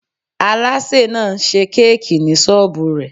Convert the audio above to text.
Aláṣè náà n ṣe kéèkì ní sọ́ọ́bù rẹ̀